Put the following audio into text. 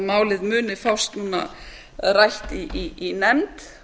málið muni fást núna rætt í nefnd